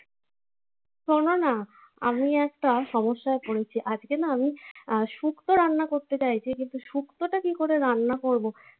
শোনো না. আমি একটা সমস্যায় পড়েছি. আজকে না আমি আহ শুক্তো রান্না করতে চাইছি। কিন্তু শুক্তোটা কি করে রান্না করবো?